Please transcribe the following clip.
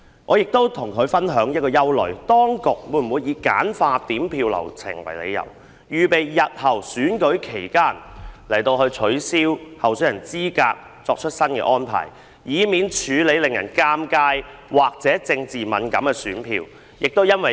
我曾向她表示憂慮，當局會否以簡化點票流程為理由，為日後在選舉期間取消候選人資格作出安排，以避免處理令人尷尬或政治敏感的選票。